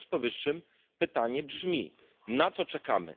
W związku z powyższym pytanie brzmi na co czekamy?